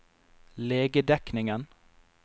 legedekningen